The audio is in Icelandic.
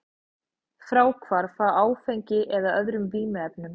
Fráhvarf frá áfengi eða öðrum vímuefnum.